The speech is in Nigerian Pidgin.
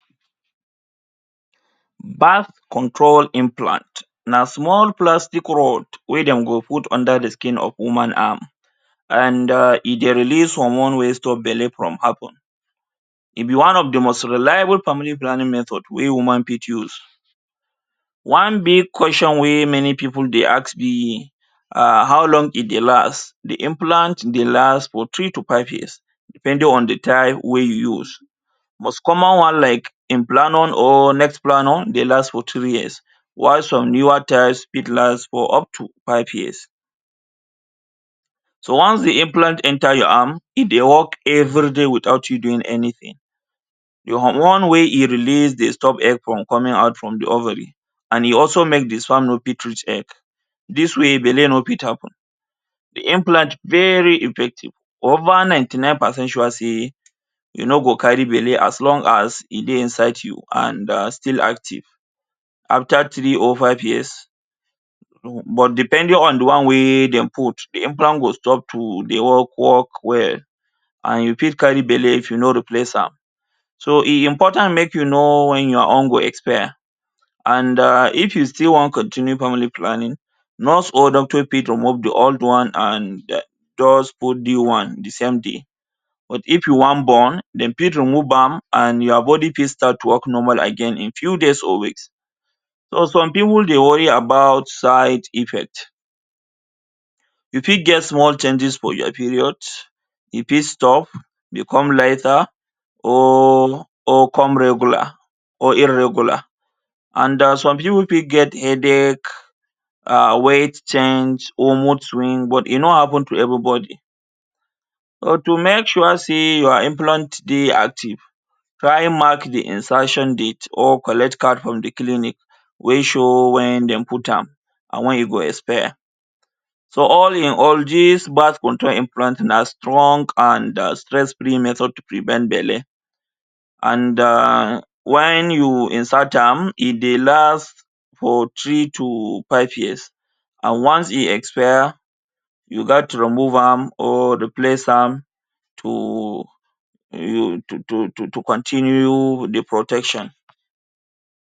Birth control implant na small plastic rod wey dem go put under de skin of woman arm and AHH e dey release hormone wey stop belle from happening e be one of de most reliable family planning method wey woman fit use one big question wey many people dey ask be um how long e dey last de implant dey last for three to five years depending on de type wey you use most common one like implanon or neplanon dey last for two years why some newer types fit last for up to five years so once de implant enter your arm e dey work everyday without you doing anything your one way e release dey stop egg from coming out form de ovary and e also male de sperm no fit reach egg this way belle no fit happen de implant very effective over ninety nine percent sure say you no go carry belle as long as e dey inside you and still active after three or five years but depending on de one wey dem put de implant go stop to dey work work well and you fit carry belle if you no replace am so e important make you know when your own go expire and um if you still wan continue family planning nurse or doctor fit remove de old one and eh just put new one de same day but if you wan born dem fit remove am and your body fit start work normal again in few days or weeks but some people dey worry about side effects you fit get small changes for your periods e fit stop e come lighter or come regular or irregular and um some people fit get headache. AHH weight change or mood swing but e no happen to anybody but to make sure say your implants dey active try mark de insertion date or collect card from de clinic wey show when dem put am an when e go expire so all in all this birth control implant na strong and um stress free method to prevent belle and um when you insert am e dey last for three to five years and once e expire you gast remove am or replace am to to to continue de protection.